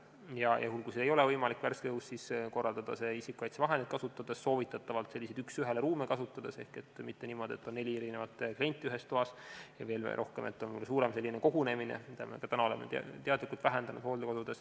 Kui värskes õhus kohtuda ei ole võimalik, siis tuleb korraldada see kokkusaamine isikukaitsevahendeid kasutades, soovitatavalt selliseid üks ühele ruume kasutades, st mitte niimoodi, et ühes toas on neli klienti või veel rohkem ja selline suurem kogunemine, mida me oleme hooldekodudes teadlikult vähendanud.